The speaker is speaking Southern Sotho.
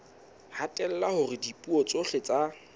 hatella hore dipuo tsohle tsa